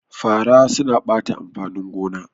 Fara suna ɓata amfanin gona